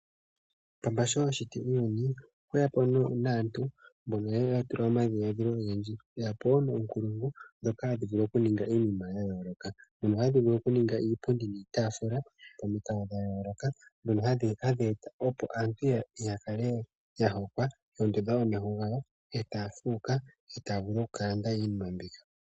Paamba sho ashiti uuyuni okwa shiti woo aantu mboka yeya tula omadhiladhilo ogendji eya pe woo omaunkulungu mboka taa vulu okuninga iinima yayoloka. Ohaya vulu oku ninga iipundi niitafula pamiikalo dha yoloka dhoka hadhi eta opo aantu yakale ya hokwa etaya fuuka etaya vulu oku kalanda iinima mbyoka.